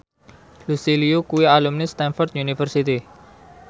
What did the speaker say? Lucy Liu kuwi alumni Stamford University